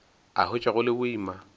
a hwetša go le boima